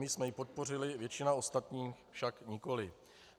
My jsme ji podpořili, většina ostatních však nikoliv.